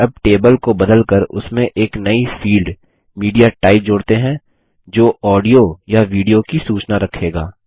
अब टेबल को बदलकर उसमें एक नई फील्ड मीडियाटाइप जोड़ते हैं जो ऑडियो या वीडियो की सूचना रखेगा